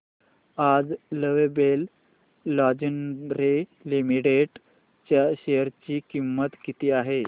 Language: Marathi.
आज लवेबल लॉन्जरे लिमिटेड च्या शेअर ची किंमत किती आहे